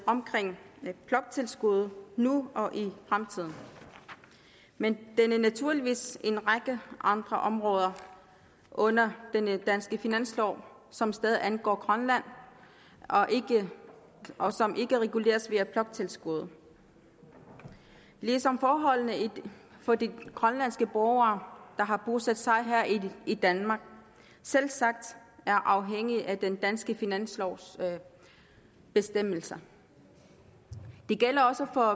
omkring bloktilskuddet nu og i fremtiden men der er naturligvis en række andre områder under den danske finanslov som stadig angår grønland og som ikke reguleres via bloktilskuddet ligesom forholdene for de grønlandske borgere der har bosat sig her i danmark selvsagt er afhængige af den danske finanslovs bestemmelser det gælder også for